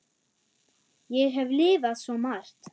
Ég hef lifað svo margt.